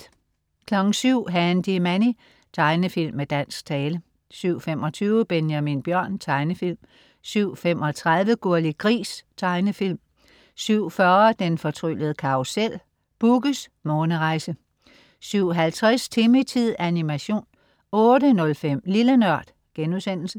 07.00 Handy Manny. Tegnefilm med dansk tale 07.25 Benjamin Bjørn. Tegnefilm 07.35 Gurli Gris. Tegnefilm 07.40 Den fortryllede karrusel. Bugges månerejse 07.50 Timmy-tid. Animation 08.05 Lille Nørd*